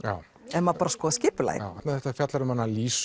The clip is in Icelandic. þegar maður skoðar skipulagið en þetta fjallar um Lísu